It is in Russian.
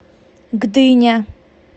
гдыня